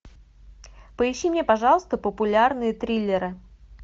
поищи мне пожалуйста популярные триллеры